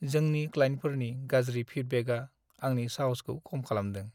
जोंनि क्लाइन्टफोरनि गाज्रि फिडबेकआ आंनि साहसखौ खम खालामदों।